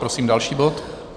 Prosím další bod.